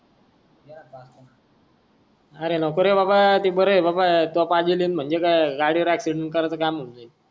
अरे नकोरे बाबा ती बरं आहे बाबा